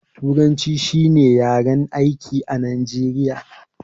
Turanci shi ne yaren aiki a najeriya